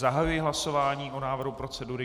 Zahajuji hlasování o návrhu procedury.